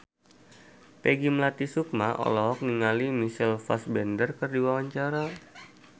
Peggy Melati Sukma olohok ningali Michael Fassbender keur diwawancara